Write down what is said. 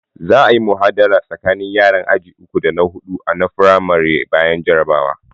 Za a'yi muhawara tsakanin yaran aji uku da Hudu na firamari bayan jarabawa.